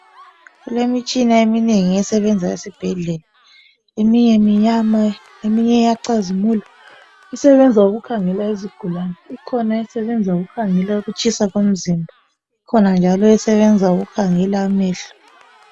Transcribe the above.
Kulemitshana eminengi esebenza esibhedlela ,eminye imnyama, eminye iyacizimula. Isebenza ukukhangela izigulane ,ikhona esebenza ukukhangela ukutshisa komzimba ikhona njalo esebenza ukukhangela amehlo.